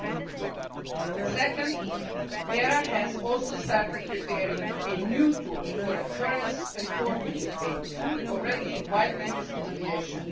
300. Second, ERA has also started preparing a new tool for occurrence reporting, a tool already widely used in aviation.